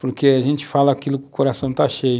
porque a gente fala aquilo que o coração está cheio.